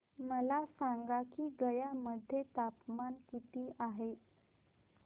मला सांगा की गया मध्ये तापमान किती आहे